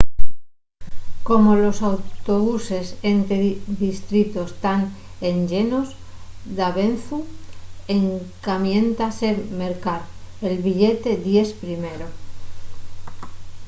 como los autobuses ente distritos tán enllenos davezu encamiéntase mercar el billete díes primero